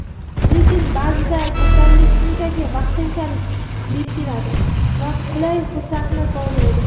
Lekin ba’zida kasallik shunchaki vaqtinchalik "berkinadi" va qulay fursatni poylaydi".